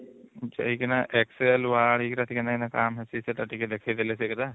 ଯାଇକିନା excel word ଏଗୁଡା ଟିକେ ନାଇନ କଣ feature ଟିକେ ଦେଖେଇଦେଲେ ସେଗୁଡା